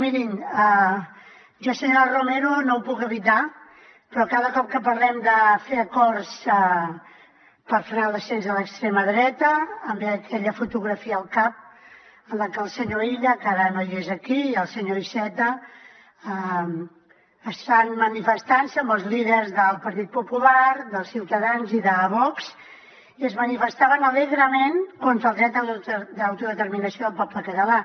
mirin jo senyora romero no ho puc evitar però cada cop que parlem de fer acords per frenar l’ascens de l’extrema dreta em ve aquella fotografia al cap en la que el senyor illa que ara no és aquí i el senyor iceta estan manifestant se amb els líders del partit popular de ciutadans i de vox i es manifestaven alegrement contra el dret d’autodeterminació del poble català